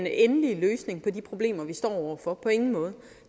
endelige løsning på de problemer vi står over for på ingen måde